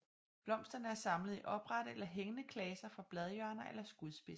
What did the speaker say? Blomsterne er samlet i oprette eller hængende klaser fra bladhjørner eller skudspidser